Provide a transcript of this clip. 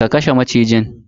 Ka kashe macijin.